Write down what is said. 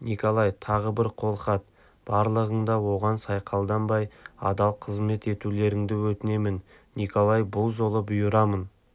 николай тағы бір қолхат барлығың да оған сайқалданбай адал қызмет етулеріңді өтінемін николай бұл жолы бұйырамын